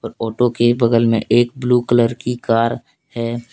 Photo के बगल में एक ब्लू कलर की कार है।